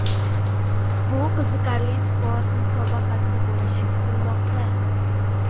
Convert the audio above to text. Bu qiziqarli sport musobaqasi bo‘lishi kutilmoqda.